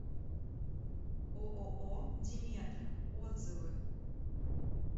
ооо диметра отзывы